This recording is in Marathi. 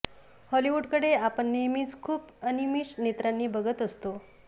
हॉलिवूडकडे आपण नेहमीच खूप अनिमिष नेत्रांनी बघत असतो